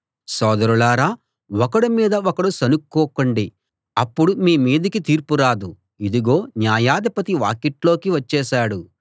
సోదరులారా ఒకడి మీద ఒకడు సణుక్కోకండి అప్పుడు మీ మీదికి తీర్పు రాదు ఇదుగో న్యాయాధిపతి వాకిట్లోకి వచ్చేశాడు